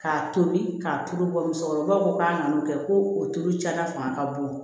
K'a tobi k'a tulu bɔ musokɔrɔbaw ko k'a nan'o kɛ ko o tulu cayara fanga ka bon